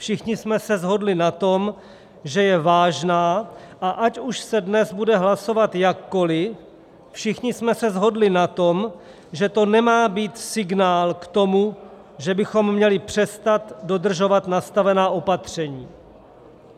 Všichni jsme se shodli na tom, že je vážná, a ať už se dnes bude hlasovat jakkoliv, všichni jsme se shodli na tom, že to nemá být signál k tomu, že bychom měli přestat dodržovat nastavená opatření.